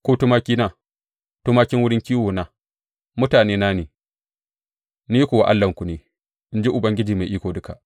Ku tumakina, tumakin wurin kiwona, mutanena ne, ni kuwa Allahnku ne, in ji Ubangiji Mai Iko Duka.